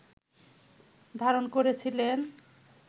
ধারণ করেছিলেন